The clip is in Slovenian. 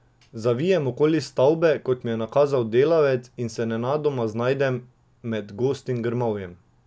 Zavijem okoli stavbe, kot mi je nakazal delavec, in se nenadoma znajdem med gostim grmovjem.